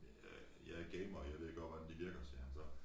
Øh jeg jeg gamer jeg ved godt hvordan de virker sagde han så